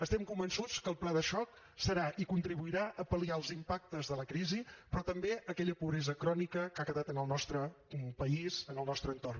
estem convençuts que el pla de xoc serà i contribuirà a pal·liar els impactes de la crisi però també aquella pobresa crònica que ha quedat en el nostre país en el nostre entorn